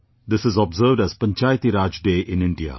This is observed as Panchayati Raj Day in India